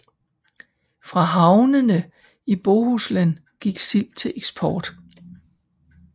Fra havnene i Bohuslen gik sild til eksport